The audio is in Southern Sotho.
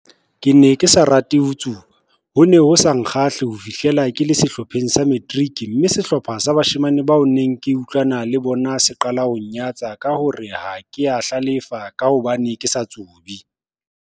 Ke ne ke sa ho rate ho tsuba, ho ne ho sa nkgahle ho fihlela ke le sehlopheng sa materiki, mme sehlopha sa bashemane bao ke neng ke utlwana le bona se qalang ho nnyatsa ka ho re ha ke a hlalefa ka hobane ke sa tsube.